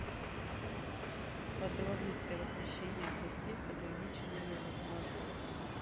подробности размещения гостей с ограниченными возможностями